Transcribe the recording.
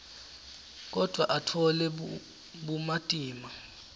kodvwa atfole bumatima